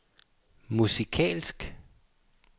musikalsk